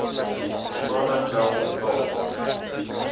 uitstaande geld betaal